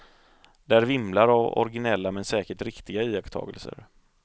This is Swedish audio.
Där vimlar av originella men säkert riktiga iakttagelser.